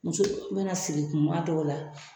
Muso be na sigi kuma dɔw la